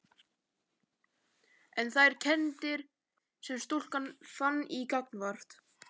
En þær kenndir sem stúlkan fann til gagnvart